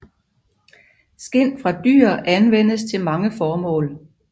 Skind fra dyr anvendes til mange formål